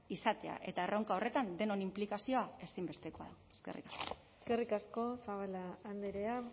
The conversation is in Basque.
izatea eta erronka horretan denon inplikazioa ezinbestekoa da eskerrik asko eskerrik asko zabala andrea